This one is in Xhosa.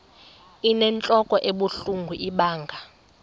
inentlok ebuhlungu ibanga